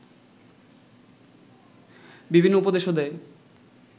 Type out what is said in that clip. বিভিন্ন উপদেশও দেয়